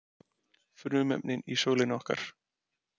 Frumefnin í sólinni okkar.